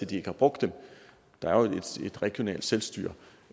de ikke har brugt dem der er jo et regionalt selvstyre